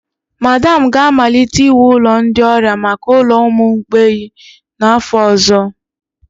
Madam ga-amalite iwu ụlọ ndị ọrịa maka ụlọ ụmụ mgbei n'afọ ọzọ.